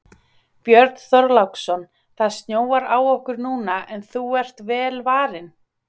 Björn Þorláksson: Það snjóar á okkur núna en þú ert vel varin?